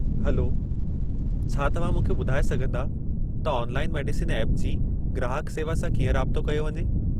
Hello, छा तव्हां मूंखे ॿुधाए सघिन्दा त ऑनलाइन मेडिसिन ऐप जी ग्राहकु सेवा सां कीअं राबितो कयो वञे?